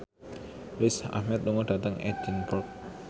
Riz Ahmed lunga dhateng Edinburgh